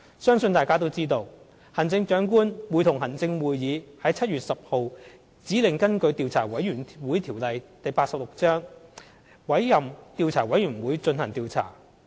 相信大家都知道，行政長官會同行政會議於7月10日指令根據《調查委員會條例》委任調查委員會進行調查。